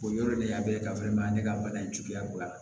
O yɔrɔ de y'a bɛɛ ka ne ka bana in cogoya ye